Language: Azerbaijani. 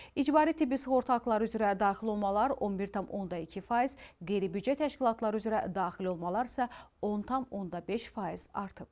İcbari tibbi sığorta haqları üzrə daxil olmalar 11,2%, qeyri-büdcə təşkilatları üzrə daxil olmalar isə 10,5% artıb.